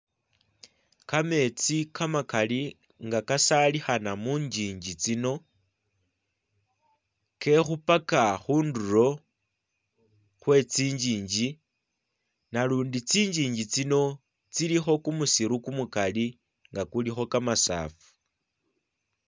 Kametsi kamakali nga kasalikhana mungingi tsino, kekhupaka khundulo khwe tsingingi, nalundi tsingingi tsino tsilikho kumusiru kumukali nga kulikho kamasafu.